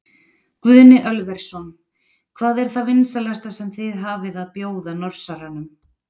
Guðni Ölversson: Hvað er það vinsælasta sem þið hafið að bjóða Norsaranum?